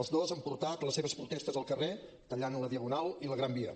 els dos han portat les seves protestes al carrer tallant la diagonal i la gran via